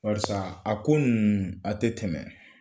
Karisa a ko a tɛ tɛmɛ